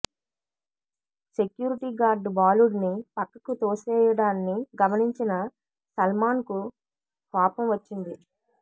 security guard బాలుడ్ని పక్కకు తోసేయడాన్ని గమనించిన సల్మాన్కు కోపం వచ్చింది